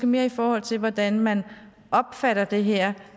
mere i forhold til hvordan man opfatter det her